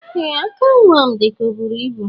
Ee aka nwam dika oburu ibu.